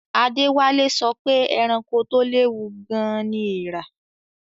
Adewale sọ pé ẹranko tó léwu gan-an ni eèrà